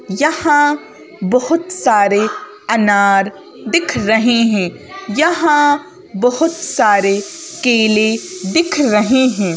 यहाँ बहुत सारे अनार दिख रहे हैं यहाँ बहुत सारे केले दिख रहे हैं।